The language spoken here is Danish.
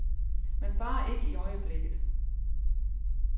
Men bare ikke i øjeblikket.